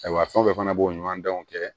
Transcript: Ayiwa fɛn o fɛn fana b'o ɲɔgɔn danw kɛ